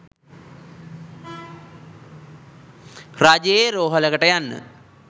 රජයේ රෝහලකට යන්න